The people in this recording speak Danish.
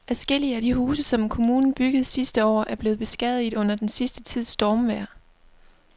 Adskillige af de huse, som kommunen byggede sidste år, er blevet beskadiget under den sidste tids stormvejr.